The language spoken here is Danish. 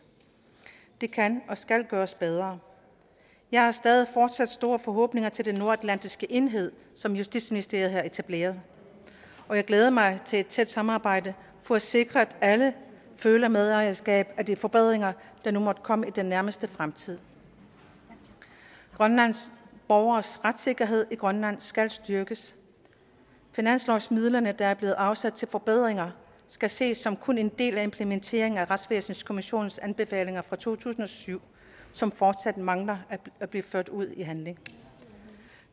det kan og skal gøres bedre jeg har stadig fortsat store forhåbninger til den nordatlantiske enhed som justitsministeriet har etableret og jeg glæder mig til et tæt samarbejde for at sikre at alle føler medejerskab af de forbedringer der nu måtte komme i den nærmeste fremtid grønlands borgeres retssikkerhed i grønland skal styrkes finanslovsmidlerne der er blevet afsat til forbedringer skal ses som kun en del af implementeringen af retsvæsenskommissionens anbefalinger fra to tusind og syv som fortsat mangler at blive ført ud i handling